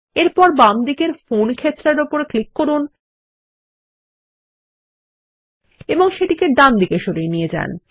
এরপর বামদিকের ফোন ক্ষেত্রের উপর ক্লিক করুন এবং সেটিকে ডান দিকে সরিয়ে নিয়ে যান